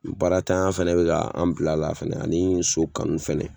Baaratanya fɛnɛ be ka an bila la fɛnɛ ani so kanu fɛnɛ